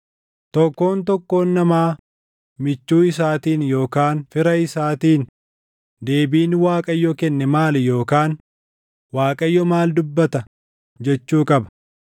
Tokkoon tokkoon namaa michuu isaatiin yookaan fira isaatiin, ‘Deebiin Waaqayyo kenne maali?’ Yookaan, ‘ Waaqayyo maal dubbata?’ jechuu qaba.